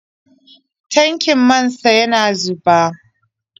Tankin man sa yana zuba.